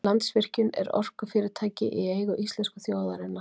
landsvirkjun er orkufyrirtæki í eigu íslensku þjóðarinnar